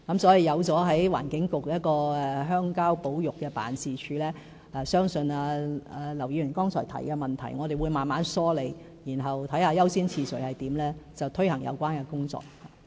所以，透過在環境局轄下成立鄉郊保育辦公室，我們會慢慢梳理劉議員剛才提出的問題，然後視乎優先次序，推行有關工作。